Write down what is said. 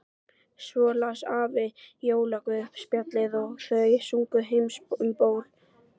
Svo las afi jólaguðspjallið og þau sungu Heims um ból.